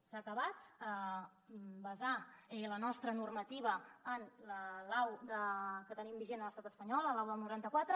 s’ha acabat basar la nostra normativa en la lau que tenim vigent a l’estat espanyol la lau del noranta quatre